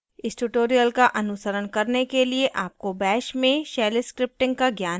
इस tutorial का अनुसरण करने के लिए आपको bash में shell scripting का ज्ञान होना चाहिए